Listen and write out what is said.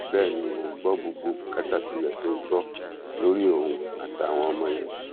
bẹ́ẹ̀ ni mò ń gbọ́ gbogbo bùkátà tó yẹ kí n gbọ́ lórí òun àtàwọn ọmọ yẹn